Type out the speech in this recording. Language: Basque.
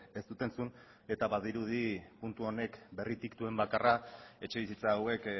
ez dut entzun eta badirudi puntu honek berritik duen bakarra etxebizitza hauek